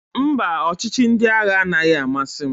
Mba, ọchịchị ndị agha anaghị amasị m.